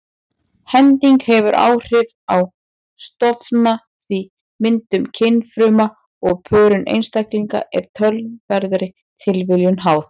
Hending hefur áhrif á stofna því myndun kynfruma og pörun einstaklinga er töluverðri tilviljun háð.